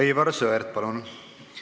Aivar Sõerd, palun!